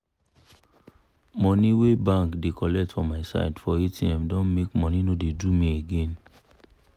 money wey bank da colet for myside for atm don make money no da do me again